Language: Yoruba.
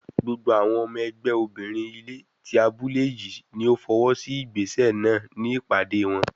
Gbogbo ọmọ ẹgbẹ́ obìnrin ilé tí abúlé yìí ni ó fọwọ́ sí ìgbésẹ̀ náà ní ìpàdé wọn.